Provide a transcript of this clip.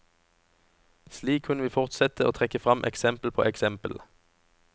Slik kunne vi fortsette å trekke frem eksempel på eksempel.